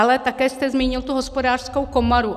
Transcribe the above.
Ale také jste zmínil tu Hospodářskou komoru.